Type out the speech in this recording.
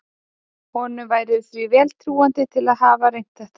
Honum væri því vel trúandi til að hafa reynt þetta.